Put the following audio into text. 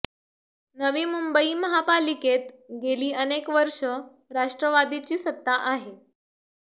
नवी मुंबई महापालिकेत गेली अनेक वर्ष राष्ट्रवादीची सत्ता आहे